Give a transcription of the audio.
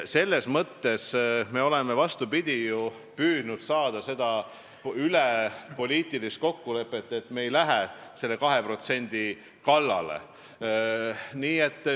Me oleme, vastupidi, ju püüdnud saavutada poliitikaülest kokkulepet, et me ei lähe selle 2% kallale.